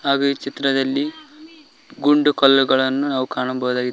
ಹಾಗು ಈ ಚಿತ್ರದಲ್ಲಿ ಗುಂಡು ಕಲ್ಲುಗಳನ್ನು ನಾವು ಕಾಣಬೋದಾಗಿದೆ.